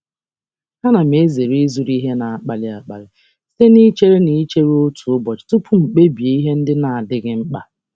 M na-ezere ịzụrụ ihe na um mberede site n'ịchere otu ụbọchị tupu m ekpebi ihe na-abụghị ihe dị um mkpa.